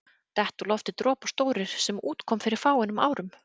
Detta úr lofti dropar stórir, sem út kom fyrir fáum árum.